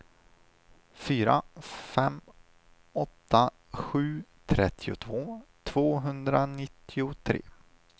fyra fem åtta sju trettiotvå tvåhundranittiotre